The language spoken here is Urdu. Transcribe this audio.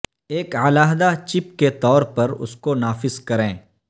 ایک علیحدہ چپ کے طور پر اس کو نافذ کریں